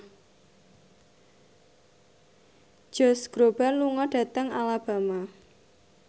Josh Groban lunga dhateng Alabama